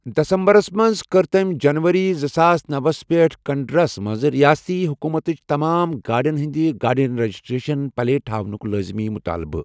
دسمبرَس منٛز کٔر تٔمۍ جنوری زٕساس نۄسَ پیٹھٕ کنڑرَس منٛز ریٲستی حکوٗمتچ تمام گاڑیَن ہٕنٛدِ گاڑیَن رجسٹریشن پلیٹ ہاونُک لٲزمی مُطٲلبہ۔